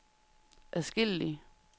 adskillige